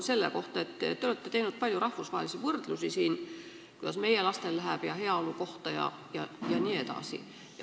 Te olete teinud siin palju rahvusvahelisi võrdlusi selle kohta, kuidas meie lastel läheb, heaolu kohta jne.